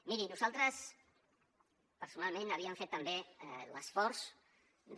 miri nosaltres personalment havíem fet també l’esforç de